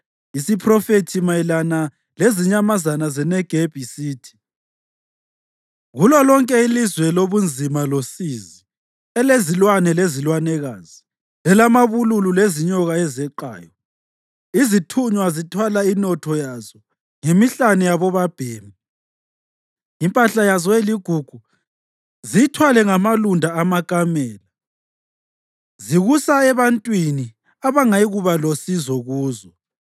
Isiphrofethi mayelana lezinyamazana zeNegebi sithi: kulolonke ilizwe lobunzima losizi, elezilwane lezilwanekazi, elamabululu lezinyoka ezeqayo izithunywa zithwala inotho yazo ngemihlane yabobabhemi, impahla yazo eligugu ziyithwale ngamalunda amakamela, zikusa ebantwini abangayikuba losizo kuzo.